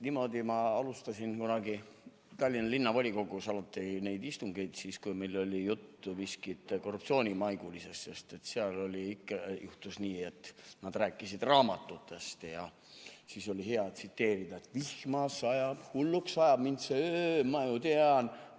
Niimoodi ma alustasin kunagi Tallinna Linnavolikogus olnud istungeid siis, kui meil oli juttu miskist korruptsioonimaigulisest, sest seal ikka juhtus nii, et nad rääkisid raamatutest ja siis oli hea tsiteerida: "Vihma sajab, hulluks ajab mind see öö, ma ju tean.